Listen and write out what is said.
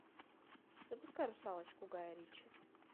запускай русалочку гая ричи